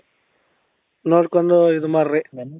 ನೋಡ್ಕೊಂಡು ಇದು ಮಾಡ್ರಿ